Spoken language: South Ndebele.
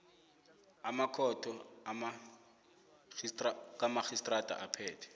makhotho kamarhistrada aphethe